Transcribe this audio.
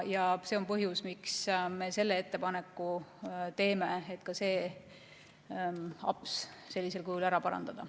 See on põhjus, miks me selle ettepaneku teeme, et ka see aps sellisel kujul ära parandada.